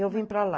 Eu vim para lá.